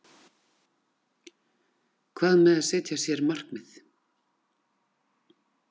Hvað með að setja sér markmið?